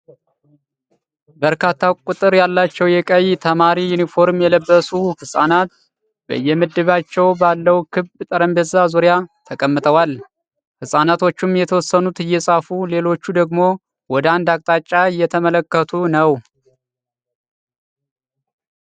በርካታ ቁጥር ያላቸው ቀይ የተማሪ ዩኒፎርም የለበሱ ህጻናት በየምድባቸው ባለው ክብ ጠረጴዛ ዙሪያ ተቀምጠዋል። ህጻናቶቹም የተወሰኑት እየጻፉ ሌሎቹ ደግሞ ወደ አንድ አቅጣጫ እየተመለከቱ ነው።